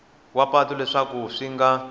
wa patu leswaku swi nga